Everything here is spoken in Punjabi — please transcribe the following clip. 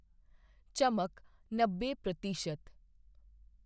ਚਮਕ ਨੱਬੇ ਪ੍ਰਤੀਸ਼ਤ